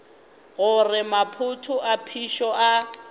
gore maphoto a phišo a